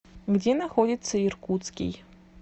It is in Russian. где находится иркутский